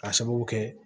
K'a sababu kɛ